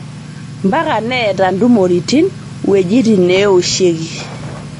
Mpaka neeta ntumoritini wuejitin neoshieki